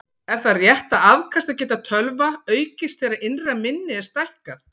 Er það rétt að afkastageta tölva aukist þegar innra minni er stækkað?